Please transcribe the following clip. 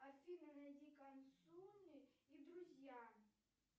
афина найди консуни и друзья